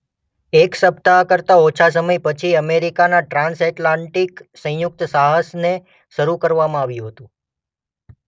એક સપ્તાહ કરતા ઓછા સમય પછી અમેરિકાના ટ્રાન્સએટલાન્ટિક સંયુક્ત સાહસને શરૂ કરવામાં આવ્યું હતું.